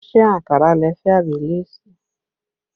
Ṣé ankara lẹ fẹ́ àbí léèsì?